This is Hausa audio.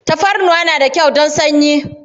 Tafarnuwa na da kyau don sanyi.